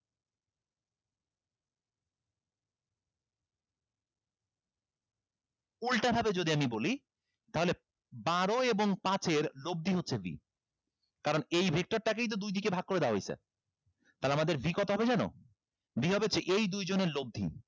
উল্টা ভাবে যদি আমি বলি তাহলে বারো এবং পাঁচের লব্ধি হচ্ছে v কারণ এই victor টাকেই তো দুইদিকে ভাগ করে দেয়া হইছে তাহলে আমাদের v কত হবে জানো v হবে হচ্ছে এই দুইজনের লব্ধি